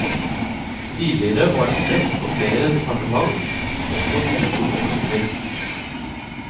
Tidligere var det spredt på flere departement som også bidro økonomisk.